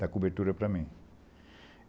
Dá cobertura para mim.